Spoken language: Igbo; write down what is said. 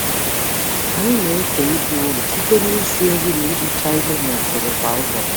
Anyị na-eke ibu ọrụ site n'isi nri na ihicha ihe n'usoro kwa ụbọchị.